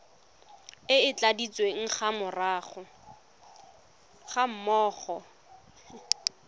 e e tladitsweng ga mmogo